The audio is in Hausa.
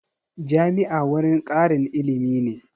Jami'a wurin ƙarin ilimi ne